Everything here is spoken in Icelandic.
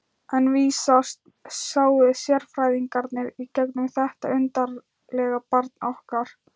En vísast sáu sérfræðingarnir í gegnum þetta undarlega barn okkar.